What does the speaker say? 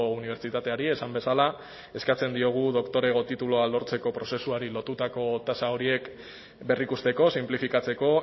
unibertsitateari esan bezala eskatzen diogu doktorego titulua lortzeko prozesuari lotutako tasa horiek berrikusteko sinplifikatzeko